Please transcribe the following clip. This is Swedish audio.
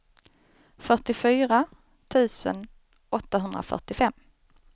fyrtiofyra tusen åttahundrafyrtiofem